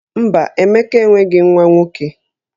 Mba, Emeka enweghi nwa nwoke